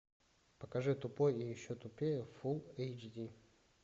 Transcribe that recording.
покажи тупой и еще тупее фулл эйч ди